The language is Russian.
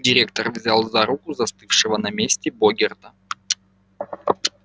директор взял за руку застывшего на месте богерта